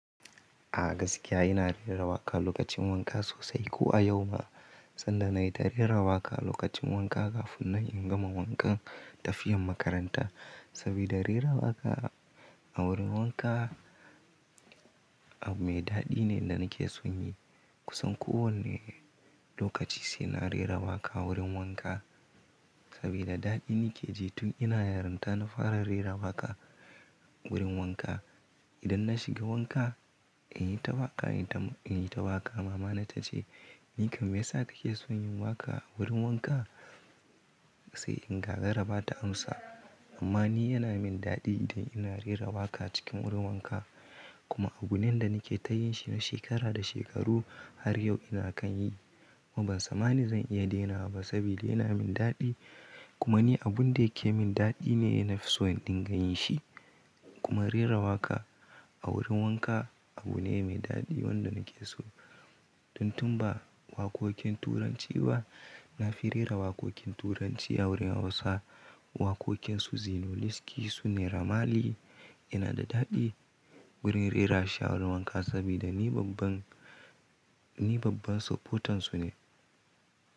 A gaskiya ina rera waƙa lokacin wanka sosai ko a yau ma, sanda nayi ta rera waƙa lokacin wanka kafin nan inga ma wankan tafiyan makaranta. Saboda rera waƙa a wurin wanka abu mai daɗi ne da nake son yi. Kusan kowane lokaci sai na rera waƙa wurin wanka. Saboda daɗin nake ji tun ina yaronta na fara rera waƙa wurin wanka. Idan na shiga wanka in yi ta waƙa, in yi ta waƙa mama na ta ce “ni kam me ya sa kake son yin waƙa wurin wanka?” Sai in gagara ba ta amsa. Amma ni yana min daɗi idan ina rera waƙa cikin wurin wanka. Kuma abune da nake ta yin shi na shekara da shekaru har yau ina kan yi. Kuma ban tsammani zan iya daina wa ba saboda yana min daɗi. Kuma ni abun da yake min daɗi ne, na fi son ɗinga yin shi. Kuma rera waƙa a wurin wanka abu ne mai daɗi wanda nake so. Tun tun ba waƙoƙin Turanci ba, na fi rera waƙoƙin Turanci a wurin Hausa. Waƙoƙin Su Zino Lesky, Su Nera Mali yana da daɗi wurin rera shi a wurin wanka saboda ni babban, ni babban supotan su ne.